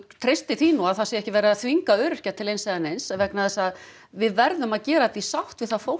treysti því nú að það sé ekki verið að þvinga öryrkja til eins eða neins vegna þess að við verðum að gera þetta í sátt við það fólk